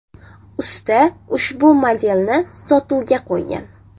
Usta ushbu modelni sotuvga qo‘ygan.